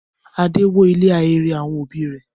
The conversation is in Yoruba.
Adé wó ilé ahéré àwọn òbí rẹ̀?